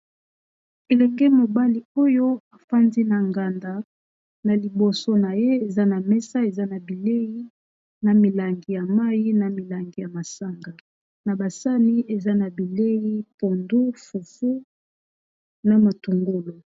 Elenge mobali oyo afandi na nganda na liboso na ye eza na mesa eza na bilei na milangi ya mayi na milangi ya masanga na basani eza na bilei pondu, fufu, na matungulu.